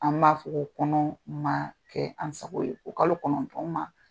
An b'a fɔ ko kɔnɔ ma kɛ an sago ye. O kalo kɔnɔntɔn ma